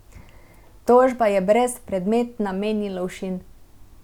Tožba je brezpredmetna, meni Lovšin.